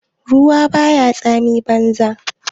Ruwa baya tsami banza.